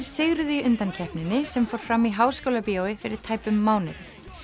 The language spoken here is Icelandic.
sigruðu í undankeppninni sem fór fram í Háskólabíói fyrir tæpum mánuði